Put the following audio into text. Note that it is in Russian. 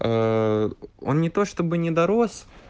ээ он не то чтобы не дорос